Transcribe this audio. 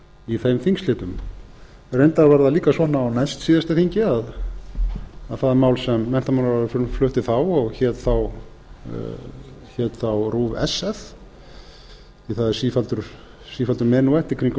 í þeim þingslitum reyndar var það líka svona á næstsíðasta þingi að það mál sem menntamálaráðherra flutti þá og hét þá rúv sf því að það er sífelldur menúett í kringum